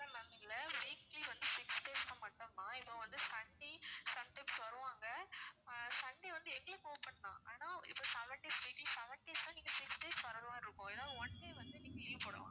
இல்ல ma'am இல்ல weekly வந்து six days மட்டும் தான் இப்போ வந்து sunday sometimes வருவாங்க sunday வந்து எங்களுக்கு open தான் ஆனா இப்போ seven days may be seven days னா நீங்க six days வர்ற மாதிரி இருக்கும் ஏன்னா one day வந்து நீங்க leave போடலாம்